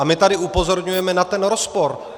A my tady upozorňujeme na ten rozpor.